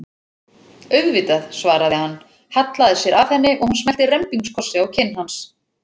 Auðvitað, svaraði hann, hallaði sér að henni og hún smellti rembingskossi á kinn hans.